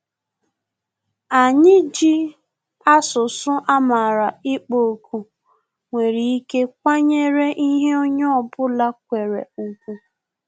Anyị ji asụsụ amara na-ịkpọ òkù nwere ike kwanyere ihe onye ọ bụla kwere ùgwù